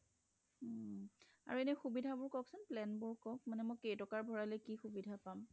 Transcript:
আৰু এনে সুবিধা বোৰ কক চোন plan বোৰ কক মানে মই কেই টকা ভৰালে কি সুবিধা পাম